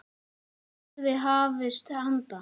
Hvenær yrði hafist handa?